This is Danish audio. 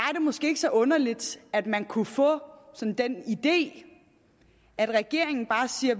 måske ikke så underligt at man kunne få den idé at regeringen bare siger